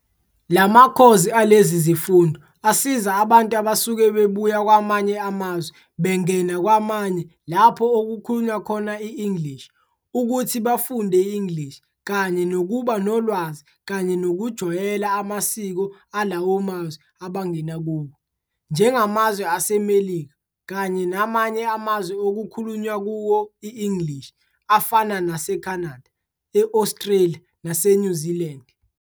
La makhozi alezi zifundo asiza abantu abasuke bebuya kwamanye amazwe bengena kwamanye lapho okukhulunywa khona i-English, ukuthi bafunde i-English kanye nokuba nolwazi kanye nokujwayela amasiko alawo mazwe abangena kuwo, njengamazwe aseMelika kanye namanye amazwe okukhulunywa kuwo i-English, afana nase-Canada, e-Australia nase-New Zealand.